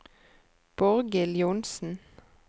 Borghild Johnsen